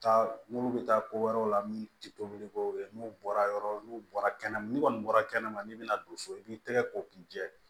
Taa minnu bɛ taa ko wɛrɛw la min tɛ tobili kɛ u bɛ n'u bɔra yɔrɔ n'u bɔra kɛnɛma n'u kɔni bɔra kɛnɛma n'i bɛna don so i b'i tɛgɛ ko k'i jɛ